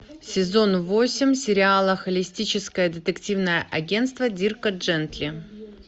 сезон восемь сериала холистическое детективное агентство дирка джентли